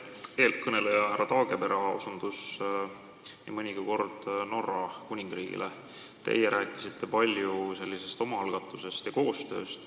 Eelkõneleja härra Taagepera osutas nii mõnigi kord Norra Kuningriigile, teie rääkisite palju omaalgatusest ja koostööst.